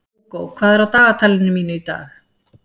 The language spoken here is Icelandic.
Hugo, hvað er á dagatalinu mínu í dag?